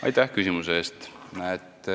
Aitäh küsimuse eest!